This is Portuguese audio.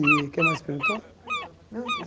E, o que mais perguntou? Não